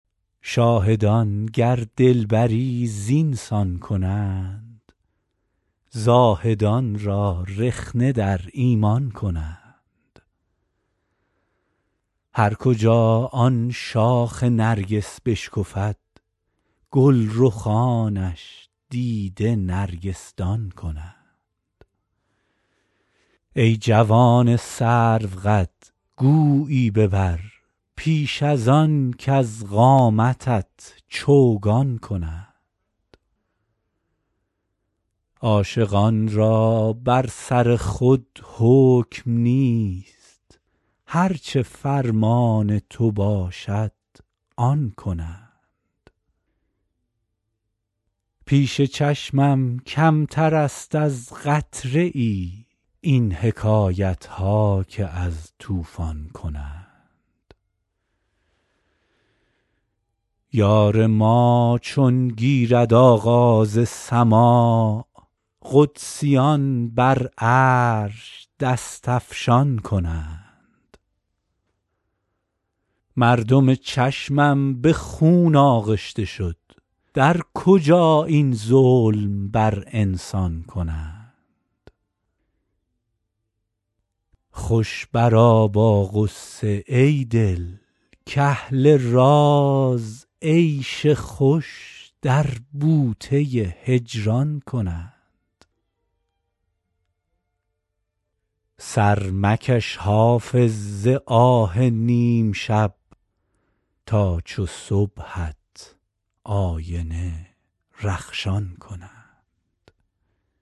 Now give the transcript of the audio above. شاهدان گر دلبری زین سان کنند زاهدان را رخنه در ایمان کنند هر کجا آن شاخ نرگس بشکفد گل رخانش دیده نرگس دان کنند ای جوان سروقد گویی ببر پیش از آن کز قامتت چوگان کنند عاشقان را بر سر خود حکم نیست هر چه فرمان تو باشد آن کنند پیش چشمم کمتر است از قطره ای این حکایت ها که از طوفان کنند یار ما چون گیرد آغاز سماع قدسیان بر عرش دست افشان کنند مردم چشمم به خون آغشته شد در کجا این ظلم بر انسان کنند خوش برآ با غصه ای دل کاهل راز عیش خوش در بوته هجران کنند سر مکش حافظ ز آه نیم شب تا چو صبحت آینه رخشان کنند